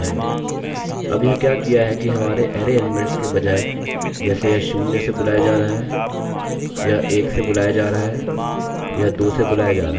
अब यह क्या किया है कि हमारे अरैarray एलीमेंट्स के बजाय जैसे यह शून्य से बुलाया जा रहा है यह एक से बुलाया जा रहा है यह दो से बुलाया जा रहा है